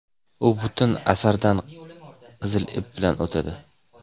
u butun asardan qizil ip bo‘lib o‘tadi.